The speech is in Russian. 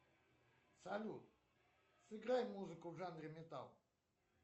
салют сыграй музыку в жанре металл